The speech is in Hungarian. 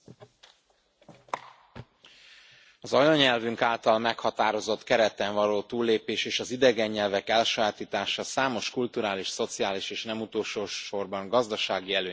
Elnök Úr! Az anyanyelvünk által meghatározott kereten való túllépés és az idegen nyelvek elsajátítása számos kulturális, szociális és nem utolsó sorban, gazdasági előnnyel jár.